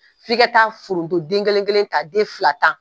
F'i ka taa foronto den kelen ta den fila ta